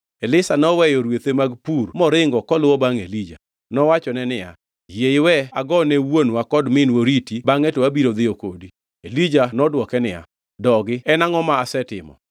Elisha noweyo rwethe mag pur moringo koluwo bangʼ Elija. Nowachone niya, “Yie iwe ago ne wuonwa kod minwa oriti bangʼe to abiro dhiyo kodi.” Elija nodwoke niya, “Dogi, en angʼo ma asetimo?”